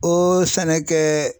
O sɛnɛ kɛ